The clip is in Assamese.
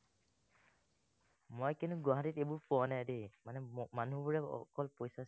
মই কিন্তু গুৱাহাটীত এইবোৰ পোৱা নাই দেই, মানে মানুহবোৰে অকল পইচা